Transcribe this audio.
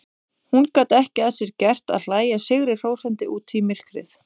Hún gat ekki að sér gert að hlæja sigrihrósandi út í myrkrið.